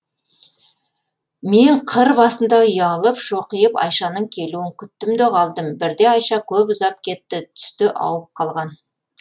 мен қыр басында ұялып шоқиып айшаның келуін күттім де қалдым бірде айша көп ұзап кетті түсте ауып қалған